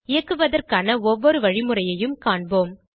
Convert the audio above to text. இயக்குவதற்கான ஒவ்வொரு வழிமுறையையும் காண்போம்